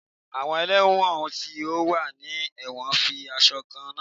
Awọn ẹlẹwọn ti o wa ni ẹwọn fi aṣọ kanna.